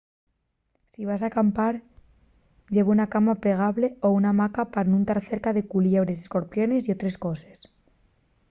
si vas acampar lleva una cama plegable o una hamaca pa nun tar cerca de culiebres escorpiones y otres coses